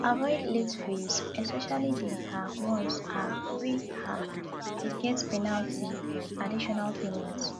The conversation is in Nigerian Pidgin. avoid late fees especially di um ones um wey um dey get penalty like additional payment